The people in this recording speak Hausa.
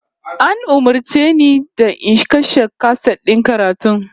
An umurce ni da in kashe kaset din karatun?